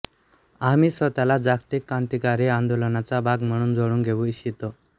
आम्ही स्वतःला जागतिक क्रांतिकारी आंदोलनाचा भाग म्हणून जोडून घेऊ इच्छितो